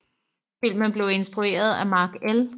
Filmen blev instrueret af Mark L